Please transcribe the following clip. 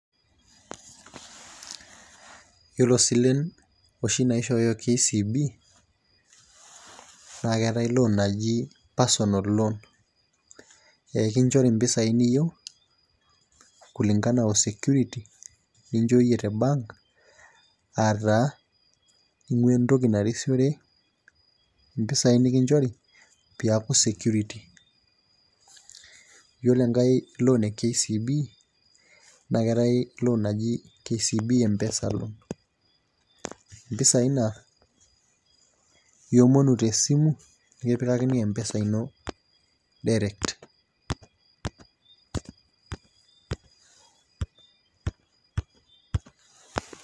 Yiolo silen oshi naishooyo KCB na keetae loan naji personal loan, ekinchori mpisai niyieu kulingana o security nichooyie te bank. ata ing'ua entoki narisiore mpisai nikichori piaku security, yiolo enkae loan e KCB naa keetae l[cs[oan naji kcb mpesa loan mpisai na iomonu tesimu nikipikakini M-Pesa ino direct.